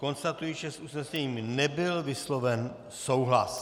Konstatuji, že s usnesením nebyl vysloven souhlas.